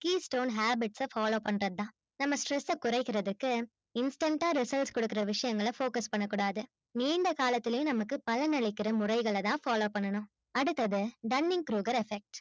key stole habits ஸ follow பண்றது தான் நம்ம stress ஸ கொரைக்குரதுக்கு instant ஆ results கொடுக்குற விஷயங்கள focus பண்ண கூடாது நீண்ட காலத்திலும் நமக்கு பயனளிக்குற முறைகள தான் follow பண்ணனும் அடுத்து dunning rogers effect